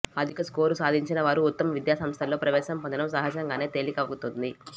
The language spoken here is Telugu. అధిక స్కోరు సాధిం చిన వారు ఉత్తమ విద్యాసంస్థల్లో ప్రవేశం పొందటం సహజంగానే తేలికవ్ఞతుంది